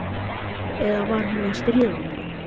Eða var hún að stríða honum?